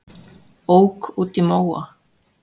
Ók út í móa